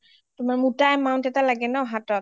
মুটা amount এটা লাগে ন হাতত